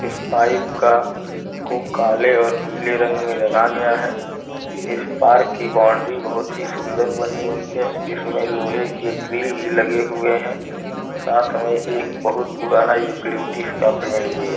इस पाइप का को काले और पीले रंग में रंगा गया है। इस पार्क की बाउंड्री बहोत ही सुंदर बनी हुई है। इस में लोहे के ग्रिल भी लगे हुए हैं। साथ में एक बहोत पुराना यूकेलिपटस का पेड़ भी है।